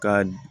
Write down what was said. Ka